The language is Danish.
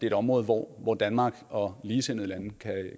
et område hvor hvor danmark og ligesindede lande